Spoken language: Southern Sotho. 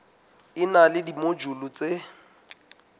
e na le dimojule tse